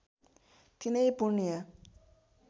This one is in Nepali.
तिनै पुण्य